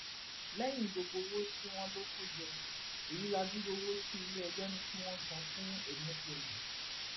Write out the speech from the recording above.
lẹyìn gbogbo owó tí wọn lò kò jẹ èyí ládùrú owó tí iléẹjọ ní kí wọn san fún eme fẹlẹ